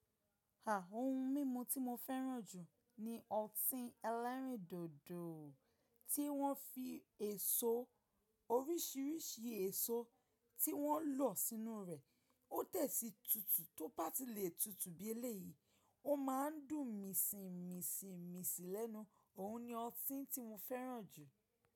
Ohun mímu tí mo fẹ́ràn jù ni ọtí ẹlẹ́rìndòdò tí wọ́n fi èso oríṣìíríṣìí èso tí wọ́n lọ̀ sínú rẹ̀. Ó tẹ̀ sí tutù tó bá ti lè tutù bí eléyìí, ó ma n dùn mìsìn mìsìn mìsìn lẹ́nu. Òhun ni ọtí tí mo fẹ́ràn jù.